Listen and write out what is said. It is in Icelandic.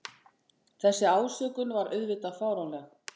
Þessi ásökun var auðvitað fáránleg